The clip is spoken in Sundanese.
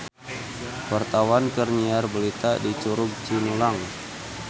Wartawan keur nyiar berita di Curug Cinulang